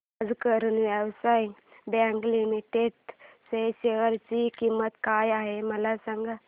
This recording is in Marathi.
आज करूर व्यास्य बँक लिमिटेड च्या शेअर ची किंमत काय आहे मला सांगा